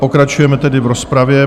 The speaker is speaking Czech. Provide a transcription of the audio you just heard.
Pokračujeme tedy v rozpravě.